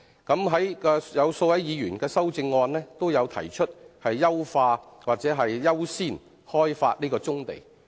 數位議員的修正案均提出優化或優先開發棕地。